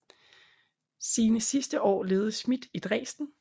Sine sidste år levede Schmitt i Dresden